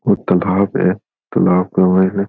ओ तालाब है तालाब के मायने --